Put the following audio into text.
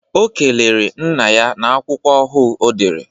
Ọ kelere nna ya n'akwụkwọ ọhuu ọdere